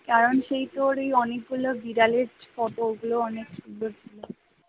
কারণ সেই তোর অনেকগুলো বিড়ালের ছবি ওইগুলো অনেক